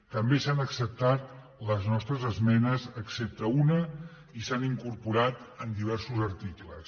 també s’han acceptat les nostres esmenes excepte una i s’han incorporat en diversos articles